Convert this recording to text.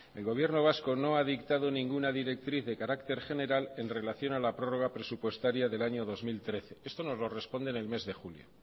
el gobierno vasco no ha dictado ninguna directriz de carácter general en relación a la prórroga presupuestaria del año dos mil trece esto nos lo responden en el mes julio